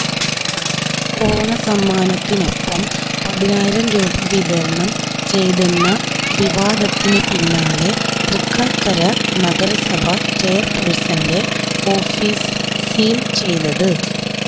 ഓണസമ്മാനത്തിനൊപ്പം പതിനായിരം രൂപ വിതരണം ചെയ്തെന്ന വിവാദത്തിന് പിന്നാലെ തൃക്കാക്കര നഗരസഭ ചെയര്പേഴ്സന്റെ ഓഫിസ് സീല് ചെയ്തത്